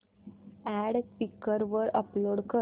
add Quikr वर upload कर